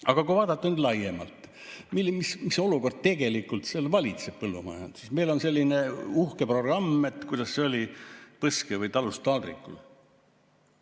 Aga kui vaadata laiemalt, mis olukord valitseb põllumajanduses, siis meil on selline uhke programm, kuidas see oli, "Talust taldrikule".